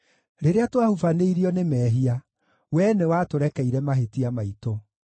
Rĩrĩa twahubanĩirio nĩ mehia, Wee nĩwatũrekeire mahĩtia maitũ.